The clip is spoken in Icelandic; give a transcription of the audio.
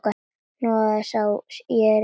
Hnoðað sá ég hvergi.